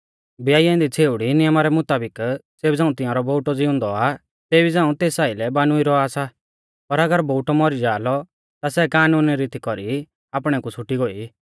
ब्याई औन्दी छ़ेउड़ी नियमा रै मुताबिक ज़ेबी झ़ांऊ तिंआरौ बोउटौ ज़िउंदौ आ तेबी झ़ांऊ तेस आइलै बानुइ रौआ सा पर अगर बोउटौ मौरी जाआ लौ ता सै कानुनी रीती कौरी आपणै कु छ़ुटी गोई